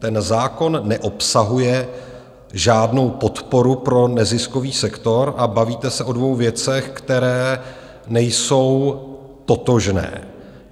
Ten zákon neobsahuje žádnou podporu pro neziskový sektor a bavíte se o dvou věcech, které nejsou totožné.